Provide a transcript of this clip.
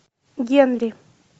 генри